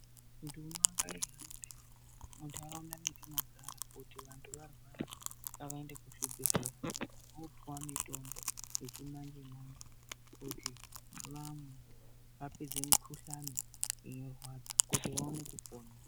Mundu unenge iibhuya mundaraunda mwatinogara kuti kana vandu varwara ngaende kuchibhehlera vopuwa mutombo yechimanje manje kuti vamwe vapedze mukuhlani unorwadza juti vaone kupona.